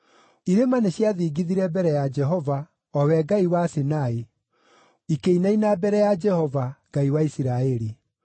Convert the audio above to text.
Irĩma nĩciathingithire mbere ya Jehova, o we Ngai wa Sinai, ikĩinaina mbere ya Jehova, Ngai wa Isiraeli.